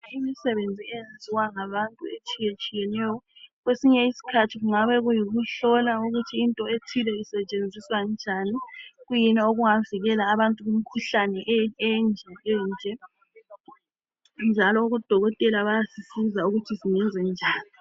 Imisebenzi eyenziwa ngabantu etshiyetshiyeneyo. Kwesinye isikhathi kungabe kuyikuhlola ukuthi into ethile isitshenziswa njani, kuyini okungavikela abantu kumikhuhlane enje lenje, njalo odokotela bayasisiz' ukuthi singenze njani.